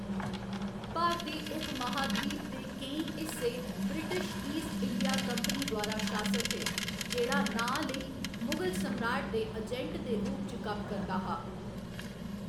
भारती उपमहाद्वीप दे केईं हिस्से ब्रिटिश ईस्ट इंडिया कंपनी द्वारा शासत हे, जेह्‌‌ड़ा नांऽ लेई मुगल सम्राट दे अजैंट दे रूप च कम्म करदा हा।